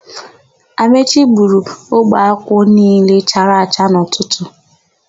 Amaechi gburu ogbe akwụ niile chara acha n'ụtụtụ.